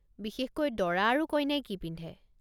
বিশেষকৈ দৰা আৰু কইনাই কি পিন্ধে?